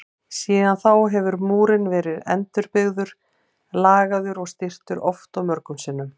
Síðan þá hefur múrinn verið endurbyggður, lagaður og styrktur oft og mörgum sinnum.